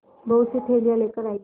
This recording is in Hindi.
बहुतसी थैलियाँ लेकर आएँगे